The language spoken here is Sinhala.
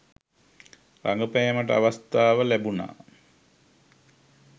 රඟපෑමට අවස්ථාව ලැබුණා.